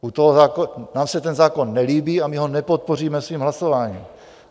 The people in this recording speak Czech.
Nám se ten zákon nelíbí a my ho nepodpoříme svým hlasováním.